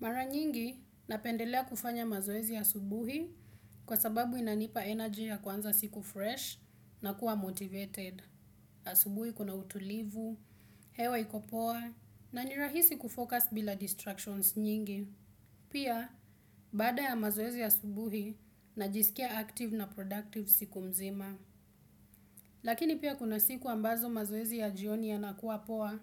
Mara nyingi, napendelea kufanya mazoezi ya asubuhi kwa sababu inanipa energy ya kwanza siku fresh na kuwa motivated. Asubuhi kuna utulivu, hewa ikopoa, na nirahisi kufocus bila distractions nyingi. Pia, bada ya mazoezi ya asubuhi, najisikia active na productive siku mzima. Lakini pia kuna siku ambazo mazoezi ya jioni ya nakuwa poa,